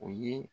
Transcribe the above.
O ye